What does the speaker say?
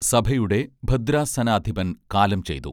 സഭയുടെ ഭദ്രാസനാധിപൻ കാലം ചെയ്തു